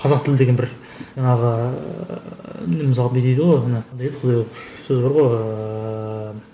қазақ тіл деген бір жаңағы ыыы міне мысалы бүй дейді ғой ана не дейді құдай ау сөз бар ғой ыыы